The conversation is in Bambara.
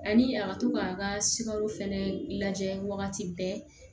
Ani a ka to k'a ka sikaro fɛnɛ lajɛ wagati bɛɛ